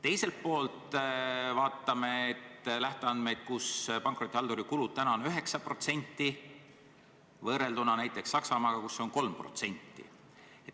Teisest küljest, kui vaatame lähteandmeid, siis pankrotihalduri kulud on praegu 9%, samas näiteks Saksamaal on 3%.